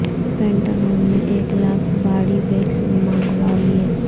پینٹا گو ن میں ایک لاکھ باڈی بیگز منگوا لیے